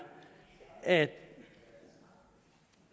at